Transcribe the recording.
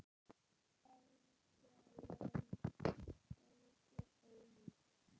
Orgelin eru svo ólík.